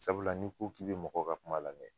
Sabula ni ko k'i be mɔgɔw ka kuma lamɛn